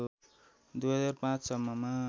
२००५ सम्ममा